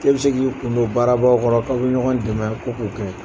K'e bɛ se k'i kun don baarabaw kɔrɔ k'a bɛ ɲɔgɔn dɛmɛ ko k'o kɛ.